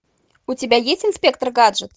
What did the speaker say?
у тебя есть инспектор гаджет